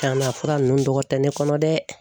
Canna fura nunnu dɔgɔtɛ ne kɔnɔ dɛ